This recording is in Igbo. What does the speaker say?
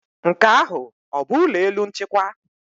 Nke ahụ ọ bụ ụlọ elu nchịkwa?